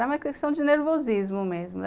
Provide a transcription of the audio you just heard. Era uma questão de nervosismo mesmo.